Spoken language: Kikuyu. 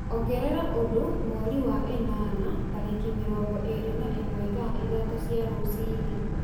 ongerera ũndũ mweri wa ĩnana tarĩki mĩrongo ĩrĩ na ĩmwe thaa ithatũ cia rũcini